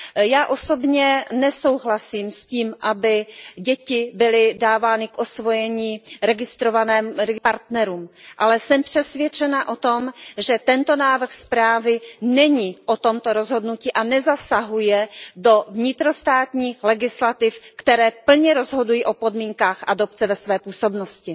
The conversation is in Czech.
Já osobně nesouhlasím s tím, aby děti byly dávány k osvojení registrovaným partnerům, ale jsem přesvědčena o tom, že tento návrh zprávy není o tomto rozhodnutí a nezasahuje do vnitrostátních legislativ, které plně rozhodují o podmínkách adopce ve své působnosti.